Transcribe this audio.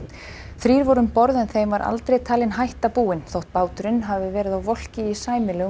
þrír voru um borð en þeim var aldrei talin hætta búin þótt báturinn hafi verið á volki í sæmilegum